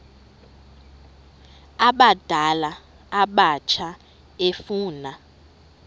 abadala abatsha efuna